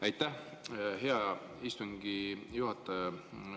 Aitäh, hea istungi juhataja!